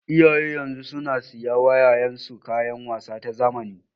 Iyayen yanzu suna siya wa 'ya'yan su kayan wasa ta zamani.